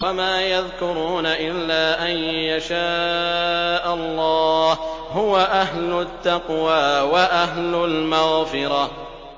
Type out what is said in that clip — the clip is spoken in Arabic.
وَمَا يَذْكُرُونَ إِلَّا أَن يَشَاءَ اللَّهُ ۚ هُوَ أَهْلُ التَّقْوَىٰ وَأَهْلُ الْمَغْفِرَةِ